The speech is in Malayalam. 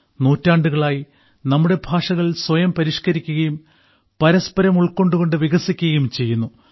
നൂറ്റാണ്ടുകളായി നമ്മുടെ ഭാഷകൾ സ്വയം പരിഷ്കരിക്കുകയും പരസ്പരം ഉൾക്കൊണ്ടുകൊണ്ട് വികസിക്കുകയും ചെയ്യുന്നു